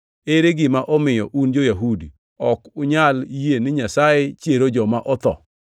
Ere gima omiyo, un jo-Yahudi, ok unyal yie ni Nyasaye chiero joma otho?